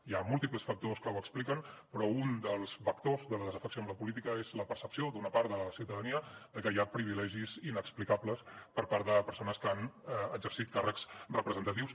hi ha múltiples factors que ho expliquen però un dels vectors de la desafecció amb la política és la percepció d’una part de la ciutadania de que hi ha privilegis inexplicables per part de persones que han exercit càrrecs representatius